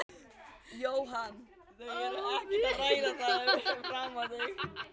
Jóhann: Þau eru ekkert að ræða það fyrir framan þig?